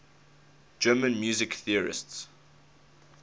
german music theorists